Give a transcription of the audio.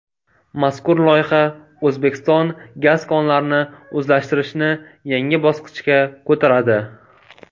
Mazkur loyiha O‘zbekiston gaz konlarini o‘zlashtirishni yangi bosqichga ko‘taradi.